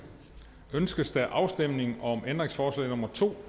ønskes afstemning om ændringsforslag nummer to